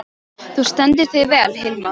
Þú stendur þig vel, Hilma!